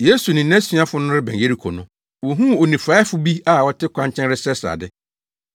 Yesu ne nʼasuafo no rebɛn Yeriko no, wohuu onifuraefo bi a ɔte kwankyɛn resrɛsrɛ ade.